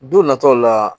Don nataw la